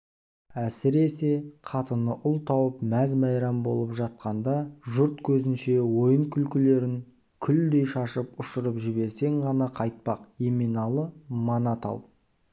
әсіресе қатыны ұл тауып мәз-майрам болып жатқанда жұрт көзінше ойын-күлкілерін күлдей шашып ұшырып жіберсең ғана қайтпақ еменалы мана тал